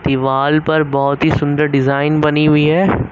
दीवाल पर बहुत ही सुंदर डिजाइन बनी हुई है।